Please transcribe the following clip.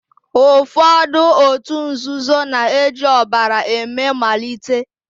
Ụfọdụ òtù nzuzo na-eji ọbara eme malite.